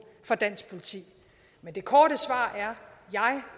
for dansk politi men det korte svar